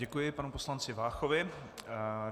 Děkuji panu poslanci Váchovi.